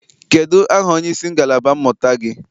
Kedụ aha onyeisi ngalaba mmụta gị?